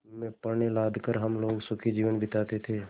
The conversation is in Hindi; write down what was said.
में पण्य लाद कर हम लोग सुखी जीवन बिताते थे